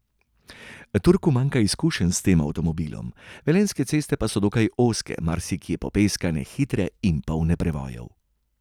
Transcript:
Turku manjka izkušenj s tem avtomobilom, velenjske ceste pa so dokaj ozke, marsikje popeskane, hitre in polne prevojev.